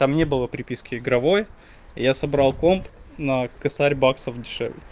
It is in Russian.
там не было приписки игровой я собрал комп на тысячу баксов